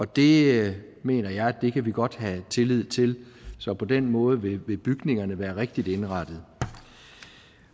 det mener jeg at vi godt kan have tillid til så på den måde vil vil bygningerne være rigtig indrettet